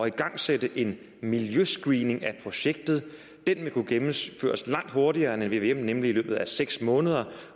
igangsætte en miljøscreening af projektet den vil kunne gennemføres langt hurtigere end en vvm nemlig i løbet af seks måneder